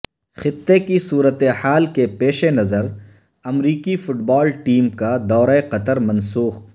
خطے کی صورت حال کے پیش نظر امریکی فٹ بال ٹیم کا دورہ قطر منسوخ